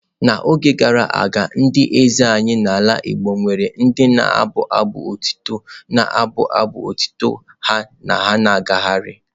N'oge gara aga ndị eze anyị n'ala igbo nwere ndị na-abụ abụ otuto na-abụ abụ otuto ha na-agagharị.